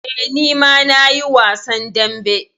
Eh, ni ma na yi wasan dambe.